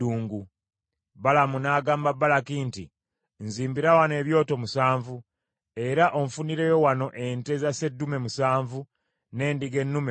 Balamu n’agamba Balaki nti, “Nzimbira wano ebyoto musanvu, era onfunireyo wano ente za sseddume musanvu n’endiga ennume musanvu.”